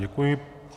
Děkuji.